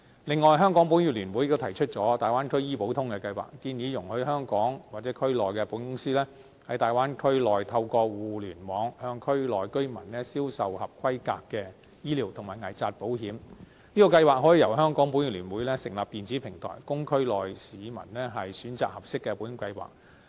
此外，香港保險業聯會亦提議推出"大灣區醫保通"計劃，建議容許香港或區內的保險公司，在大灣區內透過互聯網向區內居民銷售合規格的醫療及危疾保險，這項計劃可以由香港保險業聯會成立電子平台，供區內市民選擇合適的保險計劃。